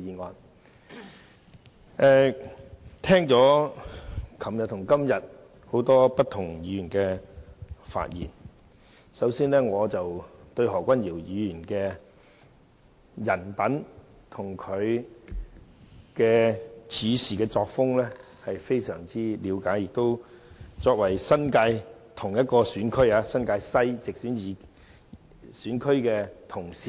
昨天和今天也聽到很多議員發言，首先，我對何君堯議員的人品和處事作風非常了解，而且作為同一個新界西選區的直選議